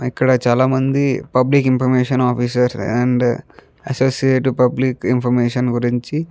ఇక్కడ చాల మంది public information officers and associate public information గురించి --